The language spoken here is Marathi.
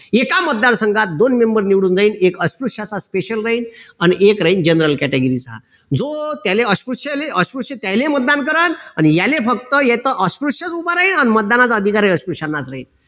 एका मतदार संघात दोन member निवडून जाईल एक अस्पृश्याचा special राहील अन एक राहील general category चा जो त्याले अस्पृश्याले अस्पृश्य त्याले मतदान करलं अन याले फक्त येत अस्पृश्य उभं राहीन अन मतदानाचा अधिकार ही अस्पृश्याला राहील